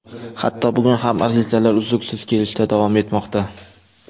Hatto bugun ham arizalar uzluksiz kelishda davom etmoqda.